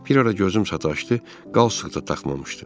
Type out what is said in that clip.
Bir ara gözüm sataşdı, qalstik də taxmamışdı.